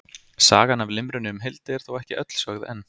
Sagan af limrunni um Hildi er þó ekki öll sögð enn.